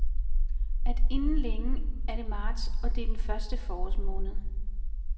At inden længe er det marts, og det er den første forårsmåned.